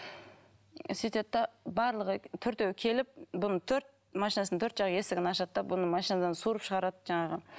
сөйтеді де барлығы төртеуі келіп бұны төрт машинасының төрт жақ есігін ашады да бұны машинадан суырып шығарады жаңағы